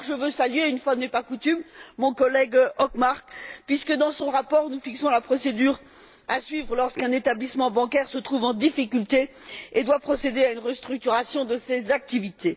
D'abord, je veux saluer une fois n'est pas coutume mon collègue Hökmark puisque, dans son rapport, nous fixons la procédure à suivre lorsqu'un établissement bancaire se trouve en difficulté et doit procéder à la restructuration de ses activités.